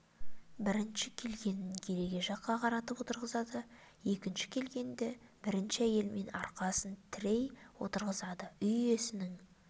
бірінші келгенін кереге жаққа қаратып отырғызады екінші келгенді бірінші әйелмен арқасын тірей отырғызады үй иесінің